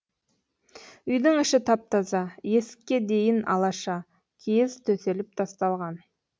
үйдің іші тап таза есікке дейін алаша киіз төселіп тасталған